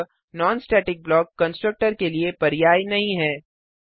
अतः non static block constructor के लिए पर्याय नहीं है